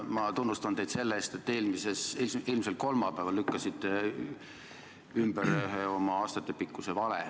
Ma tunnustan teid selle eest, et te eelmisel nädalal, ilmselt kolmapäeval lükkasite ümber ühe oma aastatepikkuse vale.